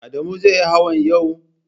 Adamu zai yi hawan yau?